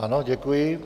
Ano, děkuji.